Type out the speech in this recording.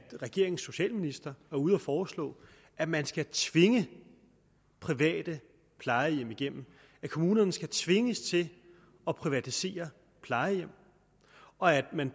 regeringens socialminister er ude at foreslå at man skal tvinge private plejehjem igennem at kommunerne skal tvinges til at privatisere plejehjem og at man